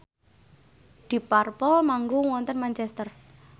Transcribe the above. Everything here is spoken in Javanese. deep purple manggung wonten Manchester